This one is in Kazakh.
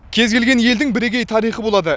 кез келген елдің бірегей тарихы болады